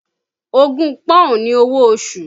Ogún Pọ́ùn ni owó oṣù